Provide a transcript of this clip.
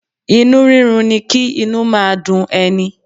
Inú rírun ni kí inú máa dun ẹni.